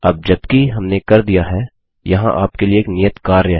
अब जबकि हमने कर दिया है यहाँ आपके लिए एक नियत कार्य है